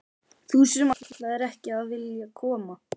Þú sem ætlaðir ekki að vilja koma!